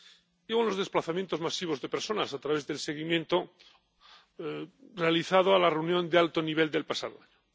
y los desplazamientos masivos de personas, a través del seguimiento realizado de la reunión de alto nivel del pasado año.